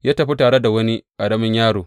Ya tafi tare da wani ƙaramin yaro.